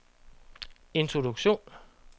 introduktion